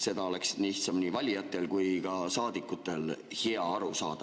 Sellest oleks lihtsalt nii valijatel kui ka saadikutel hea aru saada.